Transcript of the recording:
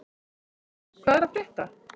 Tumi, hvað er að frétta?